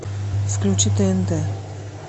включи тнт